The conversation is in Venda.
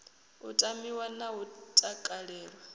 u tamiwa na u takalelwa